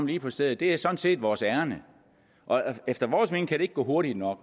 lige på stedet det er sådan set vores ærinde efter vores mening kan det ikke gå hurtigt nok